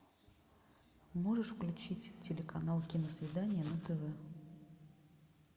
можешь включить телеканал киносвидание на тв